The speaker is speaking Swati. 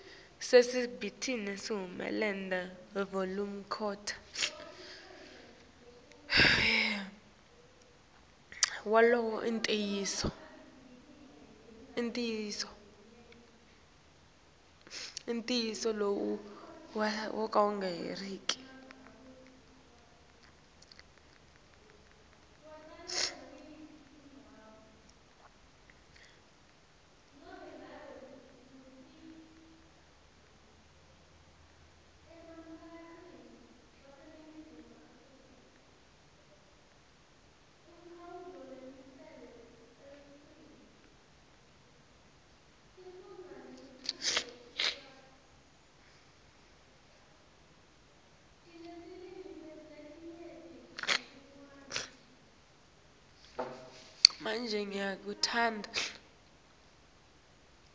sisebenti sahulumende wavelonkhe